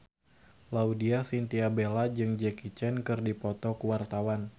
Laudya Chintya Bella jeung Jackie Chan keur dipoto ku wartawan